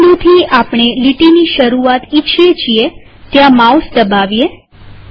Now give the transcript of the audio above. જે બિંદુથી આપણે લીટીની શરૂઆત ઈચ્છીએ છીએ ત્યાં માઉસ દબાવીએ